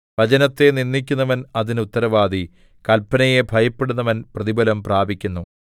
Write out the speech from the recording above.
വചനത്തെ നിന്ദിക്കുന്നവൻ അതിന് ഉത്തരവാദി കല്പനയെ ഭയപ്പെടുന്നവൻ പ്രതിഫലം പ്രാപിക്കുന്നു